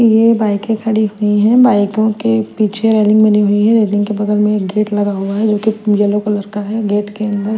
यह बाइके कड़ी हुई है बाइको के पीछे रॅलिंग बनी हुई है रॅलिंग के बगल में एक गेट लगा हुआ है जो की येलो कलर का है गेट के अन्दर--